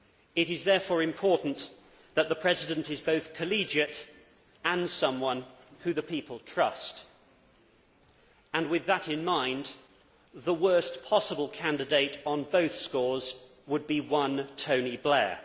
It is therefore important that the President is both collegiate and someone the people trust, and, with that in mind, the worst possible candidate on both scores would be one Tony Blair.